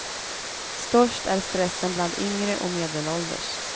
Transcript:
Störst är stressen bland yngre och medelålders.